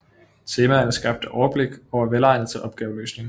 Temaerne skabte overblik og var velegnede til opgaveløsning